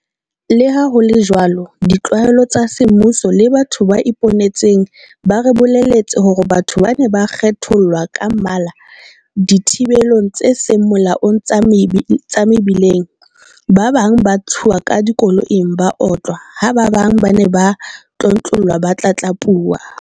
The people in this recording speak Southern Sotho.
Leha ho le jwalo ditlaleho tsa semmuso le batho ba iponetseng ba re bolelletse hore batho ba ne ba kgethollwa ka mmala dithibelong tse seng molaong tsa mebileng, ba bang ba ntshuwa ka dikoloing ba otlwa. Ha ba bang ba ne ba tlontlollwa ba tlatlapuwa.